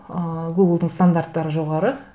ыыы гуглдың стандарттары жоғары